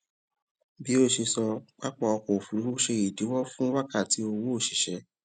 bí o ṣe sọ pápá ọkọ òfurufú ṣe ìdíwọ fún wákàtí owó òṣìṣẹ